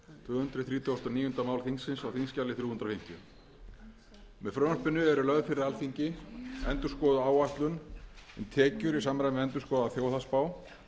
hundruð þrítugustu og níunda máli þingsins á þingskjali þrjú hundruð fimmtíu með frumvarpinu er lögð fyrir alþingi endurskoðuð áætlun um tekjur í samræmi við endurskoðaða þjóðhagsspá og